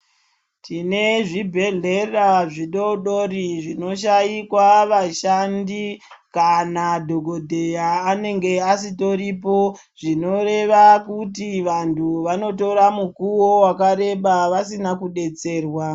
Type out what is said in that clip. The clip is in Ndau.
Tine zvibhedhlera zvidoodori zvinoshaikwa vashandi kana dhokodheya anenge asitoripo zvinoreva kuti vanhu vanotora mukuwo wakareba vasina kudetserwa.